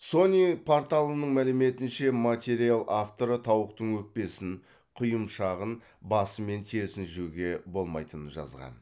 сони порталының мәліметінше материал авторы тауықтың өкпесін құйымшағын басы мен терісін жеуге болмайтынын жазған